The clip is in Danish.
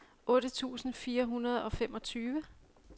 otte tusind fire hundrede og femogtyve